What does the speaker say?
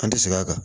An tɛ segin a kan